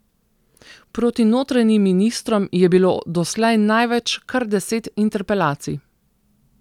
Proti notranjim ministrom je bilo doslej največ, kar deset interpelacij.